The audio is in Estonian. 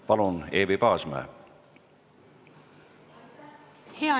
Palun, Eevi Paasmäe!